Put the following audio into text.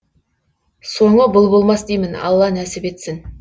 соңы бұл болмас деймін алла нәсіп етсін